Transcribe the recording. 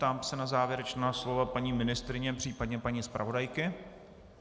Ptám se na závěrečná slova paní ministryně, případně paní zpravodajky.